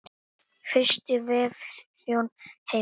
Fyrsti vefþjónn heims.